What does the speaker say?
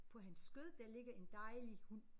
På hans skød der ligger en dejlig hund